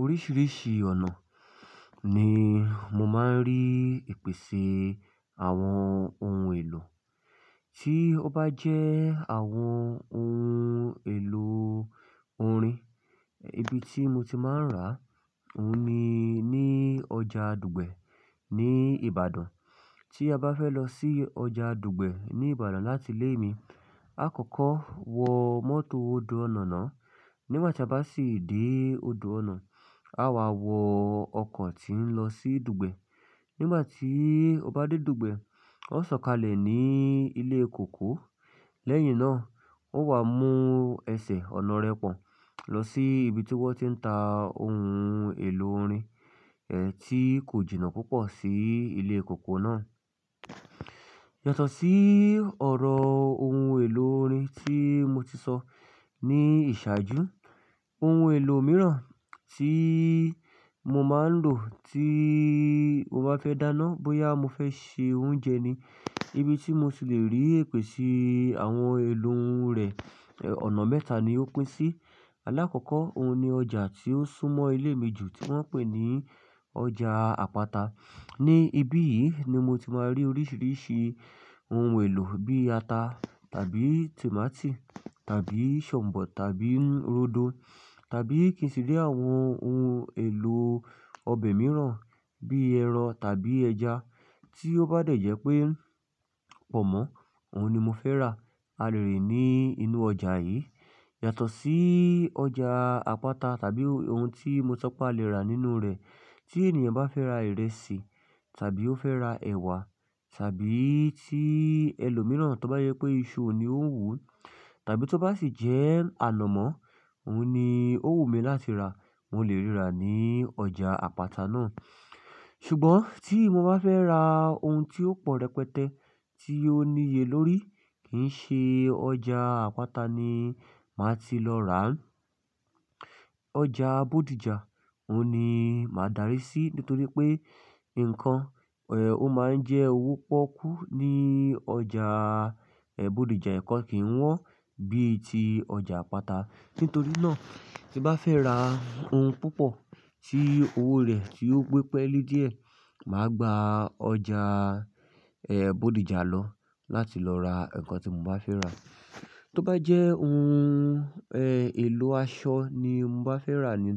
Oríṣiríṣi ọ̀nà ni mo máa ń rí ìpèsè àwọn ohun èlò. Tí ó bá jẹ́ àwọn ohun èlò orin, ibi tí mo ti máa ń rà óhun ni ní ọjà Dùgbẹ̀ ní Ìbàdàn. Tí a bá fẹ́ lọ sí ọjà Dùgbẹ̀ ní Ìbàdàn láti ilé mi, àkọ́kọ́ wọ mọ́tò ódọ̀ onà nà. Nígbà tí a bá sì dé òdo ọ̀nà, a wà wọ ọkọ̀ tí ń lọ sí Dùgbẹ̀. Nígbà tí ó bá dé Dùgbẹ̀, ó sọ̀kalẹ̀ ní ilé kòkó. Lẹ́yìn náà, ó wá mú ẹsẹ̀ ọ̀nà rẹ̀ pọ̀ lọ sí ibi tí wọ́n ti ń ta ohun èlò orin, tí kò jìnnà púpọ̀ sí ilé kòkó náà. Yàtọ̀ sí ọ̀rọ̀ ohun èlò orin tí mo ti sọ ní ìṣáájú, ohun èlò mìíràn tí mo máa ń lò tí mo bá fẹ́ dáná bóyá mo fẹ́ se oúnjẹ ni. Ibi tí mo ti lè rí ìpèsè àwọn ohun èlò rẹ̀, ọ̀nà mẹ́ta ni ó pín sí. Alákọ̀ọ́kọ́, òhun ni ọjà tí ó súnmọ́ ilé mi jù tí wọ́n pè ní ọjà Apata. Ní ibí yìí ni mo ti máa rí oríṣiríṣi ohun èlò bí ata tàbí tòmátì tàbí shambo tàbí rodo tàbí kí n sì rí àwọn ohun èlò ọbẹ̀ mìíràn bí ẹran tàbí ẹja. Tí ó bá dẹ̀ jẹ́ pé pọ̀nmọ́ ohun ni mo fẹ́ rà, a lè rí i ní inú ọjà yìí. Yàtọ̀ sí ọjà Apata tàbí ohun tí mo so pe a lè rà nínú rẹ̀, tí ènìyàn bá fẹ́ ra ìrẹsì tàbí ó fẹ́ ra ẹ̀wà tàbí tí ẹlòmíràn tó bá jẹ pé iṣu ni ó wù ú tàbí tó bá sì jẹ́ àlomọ́, òhun ni ó wù mí láti rà, mo lè ríra ní ọjà Apata náà. Ṣùgbọ́n tí mo bá fẹ́ ra ohun tí ó pọ̀ rẹpẹtẹ, tí ó níye lórí, kì í ṣe ọjà Apata ni màá ti lọ rà á. Ọjà Bódìjà, òhun ni màá darí sí nítorí pé nǹkan, ó máa ń jẹ́ owó pọ́kú ní ọjà, Bódìjà nǹkan kìí wọ́n bíi ti ọjà Apata. Nítorí náà, tí n bá fẹ́ ra ohun púpọ̀ tí owó rẹ̀ ti ó pípẹ́ lé díẹ̀, màá gba ọjà, Bódìjà lọ láti lọ ra nǹkan tí mo bá fẹ́ rà. Tí ó bá jẹ́ ohun, èlò aṣọ ni mo bá fẹ́ rà ni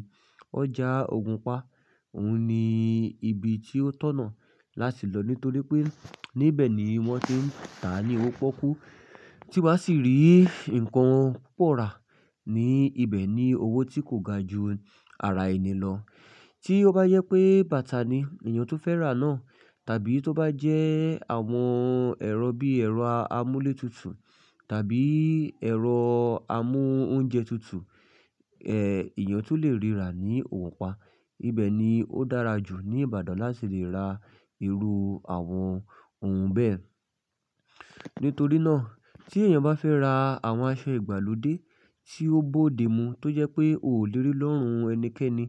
ọjà Ògùnpa, òhun ni ibi tí ó tọ̀nà láti lọ nítorí pé níbẹ̀ ni wọ́n ti ń tà á ní owó pọ́kú. Tí n bá sì rí nǹkan púpọ̀ rà ní ibẹ̀ ní owó tí kò ga ju ara ẹni lọ. Tí ó bá jẹ pé bàtà ni èèyàn tun fẹ́ rà náà tàbí tó bá jẹ́ àwọn ẹrọ bí ẹrọ amúlétutù tàbí ẹrọ amóúnjẹtutù, èèyàn tun lè ríra ní Ògùnpa, ibẹ̀ ni ó dára jù ní Ìbàdàn láti lè ra irú àwọn ohun bẹ́ẹ̀. Nítorí náà, tí èèyàn bá fẹ́ ra àwọn aṣọ ìgbàlódé tí ó bódemu tó jẹ́ pé ò lè rí lọ́rùn ẹnikẹ́ni,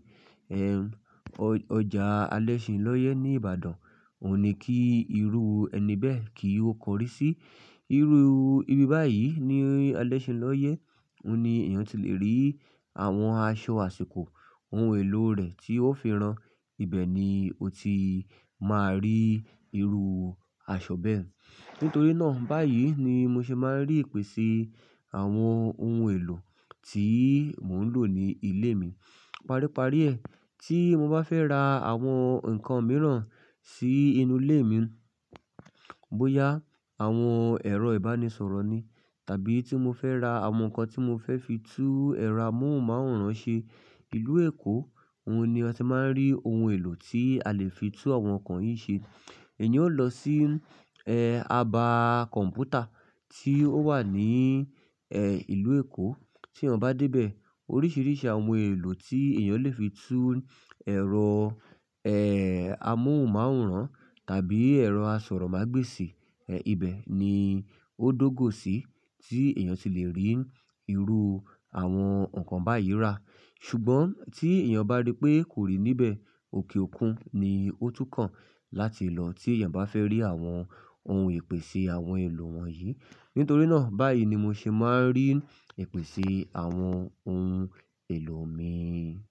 ọjà Alẹ́ṣinlọ́yẹ́ ní Ìbàdàn òhun ni kí irú ẹni bẹ́ẹ̀ kí ó kọrí sí. Irú ibi báyìí ní Alẹ́ṣinlọ́yẹ́ òhun ni èèyàn ti lè rí àwọn aṣọ àsìkò, ohun èlò rẹ̀ tí ó fi rán, ibẹ̀ ni o ti máa rí irú aṣọ bẹ́ẹ̀. Nítorí náà, báyìí ni mo ṣe máa ń rí ìpèsè àwọn ohun èlò tí mò ń lò ní ilé mi. Paríparí ẹ, tí mo bá fẹ́ ra àwọn nǹkan mìíràn sí inú ilé mi, bóyá àwọn ẹ̀rọ ìbánisọ̀rọ̀ ni tàbí tí mo fẹ́ ra àwọn nǹkan tí mo fẹ́ fi tú ẹ̀rọ amóhùnmáwòrán ṣe, ìlú Èkó òhun ni a ti máa ń rí ohun èlò tí a lè fi tú àwọn nǹkan yìí ṣe. Èèyàn ó lọ sí, Aba kọ̀mpútà tí ó wà ní, ìlú Èkó. Tí èèyàn bá dé bẹ̀, oríṣiríṣi àwọn ohun èlò tí èèyàn lè fi tú ẹ̀rọ, amóhùnmáwòrán tàbí ẹ̀rọ asọ̀rọ̀mágbèsì, ibẹ̀ ni ó dógò sí tí èèyàn ti lè rí irú àwọn nǹkan báyìí rà. Ṣùgbọ́n tí èèyàn bá rí pé kò rí níbẹ̀, òkè òkun ni ó túkàn láti lọ tí èèyàn bá fẹ́ rí àwọn ohun ìpèsè àwọn ohun èlò wọ̀nyí. Nítorí náà, báyìí ni mo ṣe máa ń rí ìpèsè àwọn ohun èlò mi.